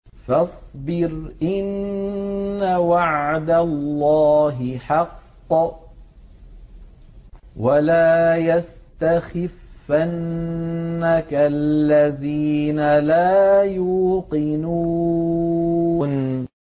فَاصْبِرْ إِنَّ وَعْدَ اللَّهِ حَقٌّ ۖ وَلَا يَسْتَخِفَّنَّكَ الَّذِينَ لَا يُوقِنُونَ